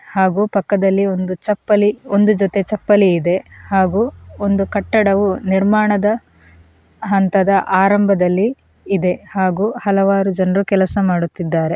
ಹಾಗೂ ಪಕ್ಕದಲ್ಲಿ ಒಂದು ಚಪ್ಪಲಿ ಒಂದು ಜೊತೆ ಚಪ್ಪಲಿ ಇದೆ ಹಾಗೂ ಒಂದು ಕಟ್ಟಡವು ನಿರ್ಮಾಣದ ಹಂತದ ಆರಂಭದಲ್ಲಿ ಇದೆ ಹಾಗೂ ಹಲವಾರು ಜನರು ಕೆಲಸ ಮಾಡುತ್ತಿದ್ದಾರೆ.